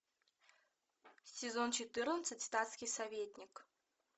сезон четырнадцать статский советник